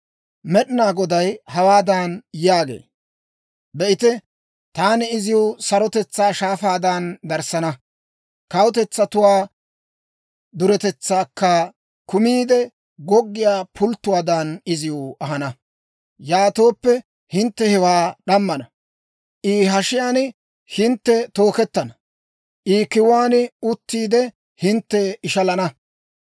Med'inaa Goday hawaadan yaagee; «Be'ite, taani iziw sarotetsaa shaafaadan darissana; kawutetsatuwaa duretetsaakka kumiide goggiyaa pulttuwaadan, iziw ahana. Yaatooppe hintte hewaa d'ammana; I hashiyaan hintte tookettana; I kiwuwaan uttiide, hintte ishalettana.